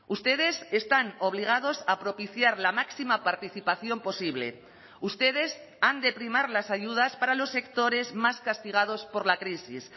ustedes están obligados a propiciar la máxima participación posible ustedes han de primar las ayudas para los sectores más castigados por la crisis